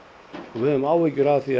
við höfum áhyggjur af því að